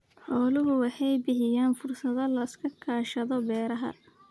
Xooluhu waxay bixiyaan fursado la iskaga kaashado beeraha.